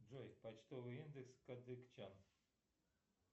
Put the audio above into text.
джой почтовый индекс кадыкчан